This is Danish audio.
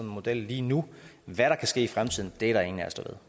model lige nu hvad der kan ske i fremtiden er der ingen